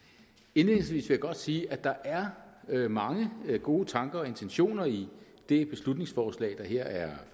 indledningsvis vil jeg godt sige at der er er mange gode tanker og intentioner i det beslutningsforslag der her er